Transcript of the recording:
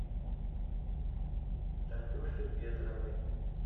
танюше ветровой